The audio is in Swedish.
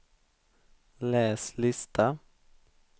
läs lista